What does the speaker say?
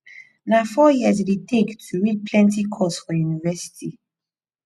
na four years e dey take to read plenty course for university